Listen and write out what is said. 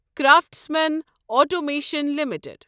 craftsman Automation limited